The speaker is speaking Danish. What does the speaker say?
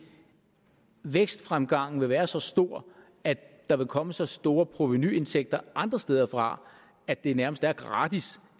vækstfremgangen vil være så stor at der vil komme så store provenuindtægter andre steder fra at det nærmest er gratis